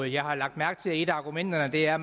jeg har lagt mærke til at et af argumenterne er